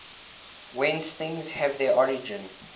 whence things have their origin